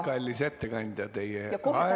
Kallis ettekandja!